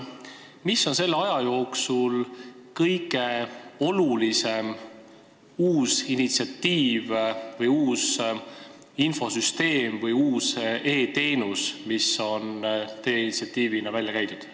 Mis on selle aja jooksul olnud kõige olulisem uus initsiatiiv, infosüsteem või e-teenus, mis on teie initsiatiivina välja käidud?